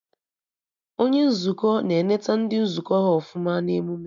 Onye Nzukọ na eneta ndị nzukọ ha ọfụma na emụme